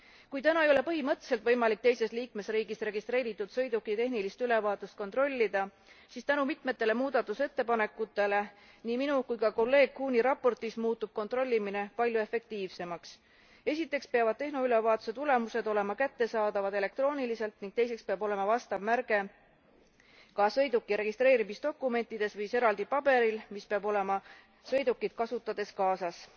Kui täna ei ole põhimõtteliselt võimalik teises liikmesriigis registreeritud sõiduki tehnilist ülevaatust kontrollida, siis tänu mitmele muudatusettepanekule nii minu kui ka kolleeg Kuhni raportis muutub kontrollimine palju efektiivsemaks. Esiteks peavad tehnoülevaatuse tulemused olema kättesaadavad elektrooniliselt ning teiseks peab olema vastav märge kas sõiduki registreerimisdokumentides või siis eraldi paberil, mis peab olema sõidukit kasutades kaasas.